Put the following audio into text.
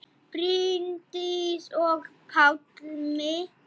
Bryndís og Pálmi.